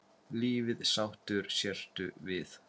Lífið sáttur sértu við.